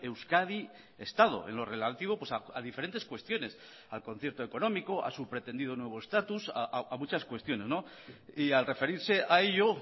euskadi estado en lo relativo a diferentes cuestiones al concierto económico a su pretendido nuevo estatus a muchas cuestiones y al referirse a ello